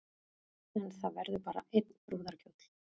En það verður bara einn brúðarkjóll